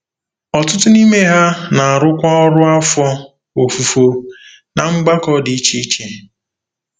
Ọtụtụ n’ime ha na-arụkwa ọrụ afọ ofufo ná mgbakọ dị iche iche.